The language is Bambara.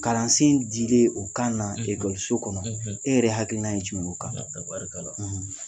Kalansen dilen o kan na kɔnɔ , e yɛrɛ hakilinan ye jumɛn o kan?